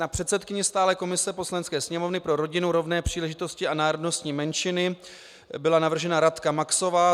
Na předsedkyni stálé komise Poslanecké sněmovny pro rodinu, rovné příležitosti a národnostní menšiny byla navržena Radka Maxová.